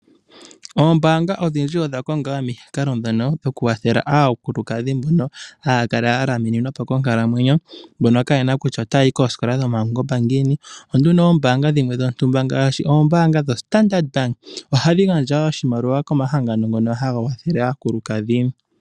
Ombaanga odhindji odha konga wo omikalo dhono dho kukwathela aakulukadhi mbono haa kala ya lamininwa po konkalamwenyo mbono kayena kutya otaa yi koosikola dhopungomba ngiini ,ombaanga ihe dhimwe ngaashi ombaanga dho Standard bank ohadhi gandja oshimaliwa komahangano ngoka haga kwathele aakulukdhi.